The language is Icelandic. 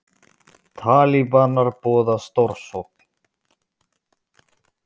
Talibanar boða stórsókn